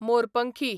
मोरपंखी